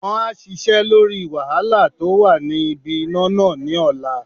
Won á sisẹ́ lórí wàhálà tó wà ní ibi iná nà ní ọ̀la